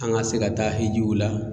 An ka se ka taa Ejiw la.